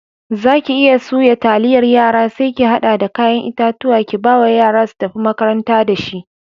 Zaki iya suya taliyar yara sai ki hada da kayan itatuwa kibawa yara su tafi makaranta da shi.